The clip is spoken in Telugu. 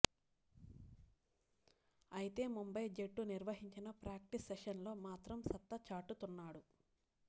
అయితే ముంబై జట్టు నిర్వహించిన ప్రాక్టీస్ సెషన్స్లో మాత్రం సత్తా చాటుతున్నాడు